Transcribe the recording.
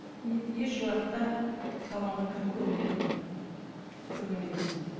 мен ешуақытта салонға кіріп көрмеген адаммын көрген емеспін